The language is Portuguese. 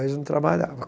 não trabalhava.